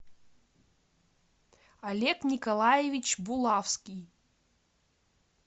олег николаевич булавский